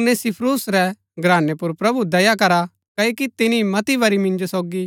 उनेसिफुरूस रै घरानै पुर प्रभु दया करा क्ओकि तिनी मती बरी मिन्जो सोगी